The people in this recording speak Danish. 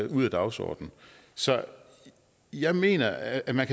ud af dagsordenen så jeg mener at man